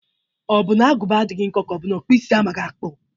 Ọ bụ na agụba adaghị nkọ ka ọ bụ na ọkpụisi amaghị akpụ?